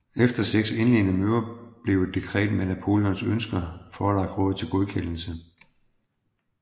Efter seks indledende møder blev et dekret med Napoleons ønsker forelagt rådet til godkendelse